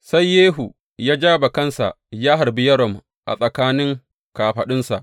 Sai Yehu ya ja bakansa ya harbi Yoram a tsakanin kafaɗunsa.